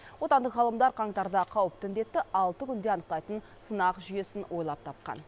отандық ғалымдар қаңтарда қауіпті індетті алты күнде анықтайтын сынақ жүйесін ойлап тапқан